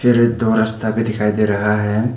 अरे दो रस्ता भी दिखाई दे रहा है।